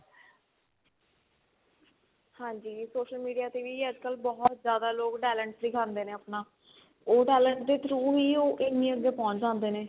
ਹਾਂਜੀ social media ਤੇ ਵੀ ਅੱਜਕਲ ਬਹੁਤ ਜਿਆਦਾ ਲੋਕ talent ਦੇਖਾਂਦੇ ਨੇ ਆਪਣਾ ਉਹ ਤਾਂ ਅੱਲਗ ਦੇ through ਹੀ ਉਹ ਇੰਨੀ ਅੱਗੇ ਪਹੁੰਚ ਜਾਂਦੇ ਨੇ